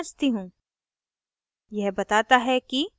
अब मैं उपलब्धता जाँचती हूँ